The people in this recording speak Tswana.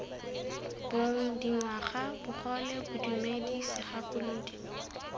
bong dingwaga bogole bodumedi segakolodi